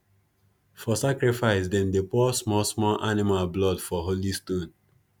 for sacrifice them dey pour small small animal blood for holy stone